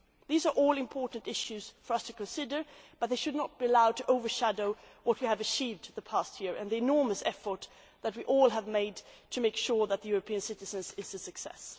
These are all important issues for us to consider, but they should not be allowed to overshadow what we have achieved over the past year and the enormous effort that we have all have made to ensure that the European Citizens' Initiative is a success.